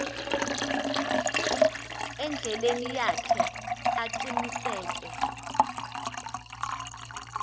endleleni yakhe aqiniseke